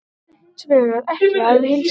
Þessu er hins vegar ekki að heilsa.